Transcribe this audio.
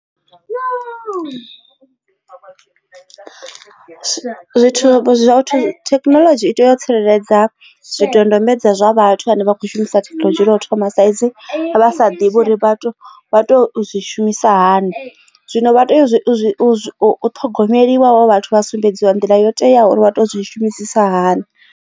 Zwithu zwoṱhe thekinoḽodzhi ita yo tsireledza zwidodombedzwa zwa vhathu vhane vha khou shumisa thekinoḽodzhi lwa u thoma thaidzo vha sa ḓivhi uri vhathu vha to zwi shumisa hani zwino vha tea u ṱhogomeliwa havho vhathu vha sumbedziwa nḓila yo teaho uri vha to zwi shumisisa hani.